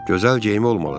Gözəl geyimi olmalıdır.